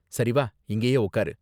சரி வா, இங்கயே உக்காரு